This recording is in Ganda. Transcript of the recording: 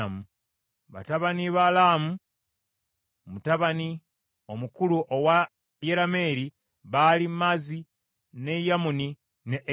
Batabani ba Laamu mutabani omukulu owa Yerameeri baali Maazi, ne Yamuni ne Ekeri.